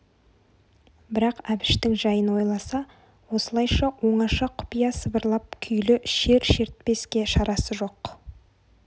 бірақ әбіштің жайын ойласа осылайша оңаша құпия сыбырлап күйлі шер шертпеске шарасы жоқ